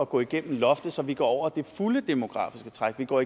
gå igennem loftet så vi går over det fulde demografiske træk vi går